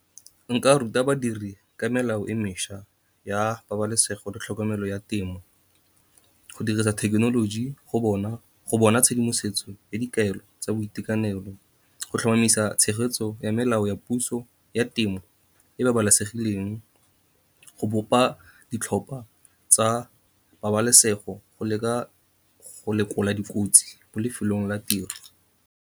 Nka ruta badiri ka melao e mešwa ya pabalesego le tlhokomelo ya temo, go dirisa thekenoloji go bona tshedimosetso ya dikaelo tsa boitekanelo. Go tlhomamisa tshegetsetso ya melao ya puso ya temo e babalesegileng, go bopa ditlhopha tsa pabalesego go lekola dikotsi mo lefelong la tiro.